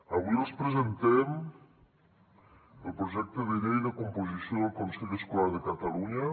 avui els presentem el projecte de llei de composició del consell escolar de catalunya